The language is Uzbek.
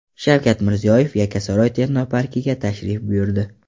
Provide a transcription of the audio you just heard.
Shavkat Mirziyoyev Yakkasaroy texnoparkiga tashrif buyurdi.